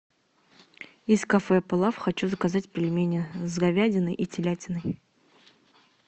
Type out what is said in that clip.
из кафе плов хочу заказать пельмени с говядиной и телятиной